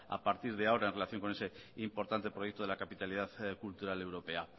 a partir de ahora en relación con ese importante proyecto de la capitalidad cultural europea